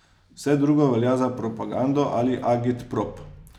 Vse drugo velja za propagando ali agitprop.